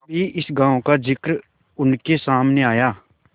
कभी इस गॉँव का जिक्र उनके सामने आया